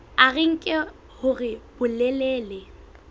a re nke hore bolelele